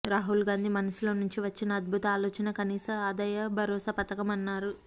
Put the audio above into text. రాహుల్ గాంధీ మనసులో నుంచి వచ్చిన అద్భుత ఆలోచన కనీస ఆదాయ భరోసా పథకమన్నారు